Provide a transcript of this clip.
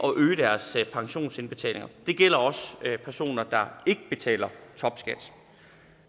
øge deres pensionsindbetalinger det gælder også personer der ikke betaler topskat